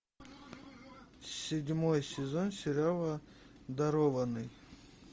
седьмой сезон сериала дарованный